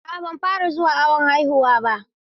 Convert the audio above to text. A'a ban fara zuwa awon haihuwa ba.